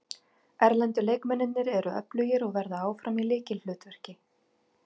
Erlendu leikmennirnir eru öflugir og verða áfram í lykilhlutverki.